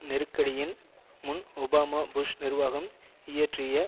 நெருக்கடியின் முன் Obama Bush நிர்வாகம் இயற்றிய